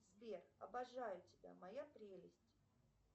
сбер обожаю тебя моя прелесть